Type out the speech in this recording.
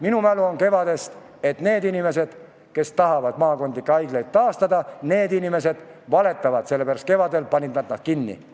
Mina mäletan kevadet ja tean, et need inimesed, kes tahavad nüüd maakonnahaiglaid taastada, valetavad, sest kevadel panid nad need ise kinni.